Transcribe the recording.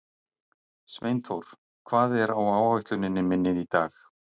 Sveinþór, hvað er á áætluninni minni í dag?